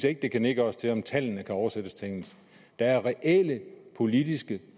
ikke det kan nedgøres til at tallene ikke oversættes til engelsk der er reelle politiske